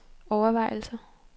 overvejelser